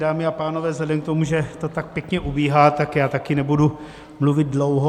Dámy a pánové, vzhledem k tomu, že to tak pěkně ubíhá, tak já také nebudu mluvit dlouho.